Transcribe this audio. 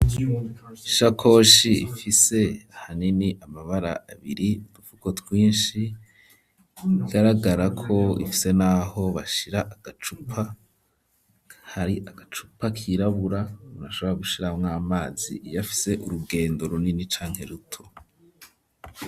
Ishakoshi ifise ahanini amabara abiri udufuko twishi bigaragara ko ifise naho bashira agacupa hari agacupa kirabura urashobora gushira mw'amazi iyafise urugendo runini canke ruto.